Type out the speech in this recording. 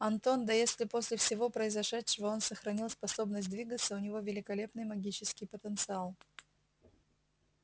антон да если после всего произошедшего он сохранил способность двигаться у него великолепный магический потенциал